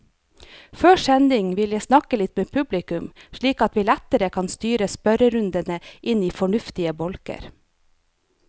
Før sending vil jeg snakke litt med publikum, slik at vi lettere kan styre spørrerundene inn i fornuftige bolker.